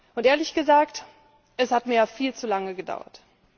Und ehrlich gesagt, es hat mir viel zu lange gedauert.